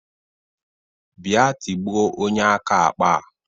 Bịa tigbuo onye aka akpa a!